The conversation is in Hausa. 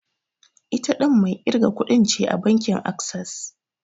Ita ɗin mai ƙirga kuɗin ce a bankin Access.